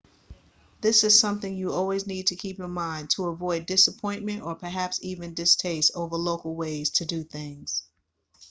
this is something you always need to keep in mind to avoid disappointment or perhaps even distaste over local ways to do things